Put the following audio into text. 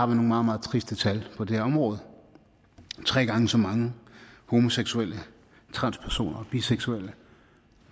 nogle meget meget triste tal på det her område tre gange så mange homoseksuelle transpersoner og biseksuelle